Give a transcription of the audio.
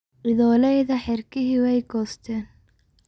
Idholeyladha xirkixi way kosten.